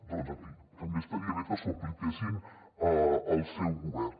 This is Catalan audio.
doncs en fi també estaria bé que s’ho apliquessin al seu govern